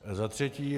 Za třetí.